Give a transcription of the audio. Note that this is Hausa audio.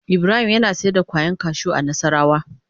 Ibrahim yana sayar da kwayan kashu a nassarawa.